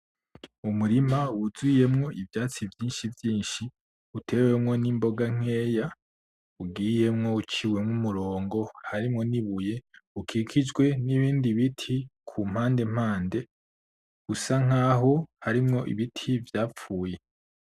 Umurima wuzuyemwo ivyatsi vyinshi vyinshi utewemwo nimboga nkeya ugiyemwo uciwemwo umurongo harimwo nibuye ukikijwe nibindi biti kumpande mpande usa nkaho harimwo ibiti vyapfuye .